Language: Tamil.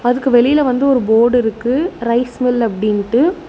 அதுக்கு வெளில வந்து ஒரு போர்டு இருக்கு ரைஸ் மில் அப்டின்ட்டு.